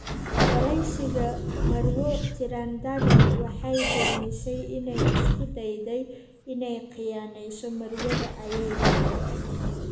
Wareysiga, marwo. Trindade waxay beenisay inay isku dayday inay khiyaanayso Marwada ayaa dehee